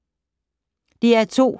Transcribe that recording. DR2